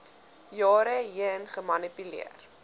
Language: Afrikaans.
jare heen gemanipuleer